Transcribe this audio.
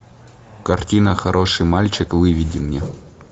картина хороший мальчик выведи мне